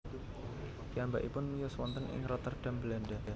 Piyambakipun miyos wonten ing Rotterdam Belanda